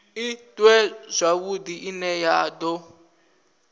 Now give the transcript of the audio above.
iṅwe zwavhudi ine ya do